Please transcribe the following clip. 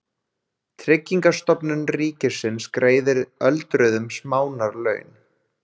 Tryggingastofnun ríkisins greiðir öldruðum smánarlaun.